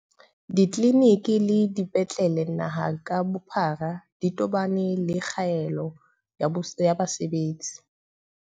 Ditleliniki le dipetlele naha ka bophara di tobane le kgaello ya basebetsi.